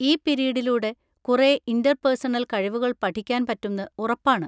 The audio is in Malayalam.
ഈ പിരീഡിലൂടെ കുറേ ഇന്‍റർപേഴ്സണൽ കഴിവുകൾ പഠിക്കാൻ പറ്റുംന്ന് ഉറപ്പാണ്.